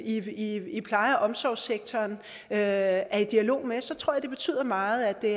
i pleje og omsorgssektoren er i dialog med så tror jeg det betyder meget at det